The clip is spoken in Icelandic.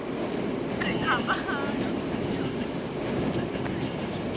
Hver þykist hafa hag af því að versla við Þjóðverja?